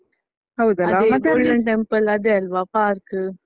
golden temple ಅದೆ ಅಲ್ವಾ park .